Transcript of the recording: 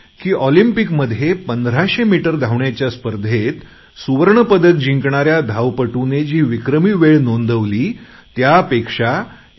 ऑलिम्पिकमध्ये 1500 मीटर धावण्याच्या स्पर्धेत सुवर्ण पदक जिंकणाऱ्या धावपटूने जी विक्रमी वेळ नोंदवली त्या पेक्षा 1